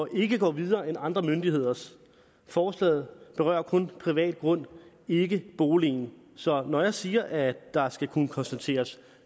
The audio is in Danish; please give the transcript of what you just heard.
ikke går videre end andre myndigheders forslaget berører kun privat grund ikke boligen så når jeg siger at der skal kunne konstateres